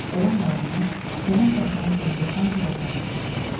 Olan qalanını yanan daxmanın sahibi Pankova satıb kənddən çıxdı.